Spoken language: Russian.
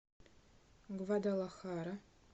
гвадалахара